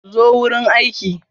Zo wurin aiki.